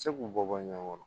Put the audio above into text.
Se k'u bɔ bɔ ɲɔgɔn kɔrɔ